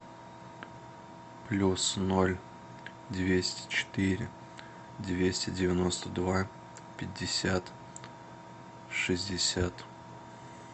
плюс ноль двести четыре двести девяносто два пятьдесят шестьдесят